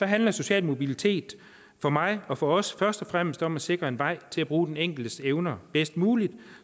handler social mobilitet for mig og for os først og fremmest om at sikre en vej til at bruge den enkeltes evner bedst muligt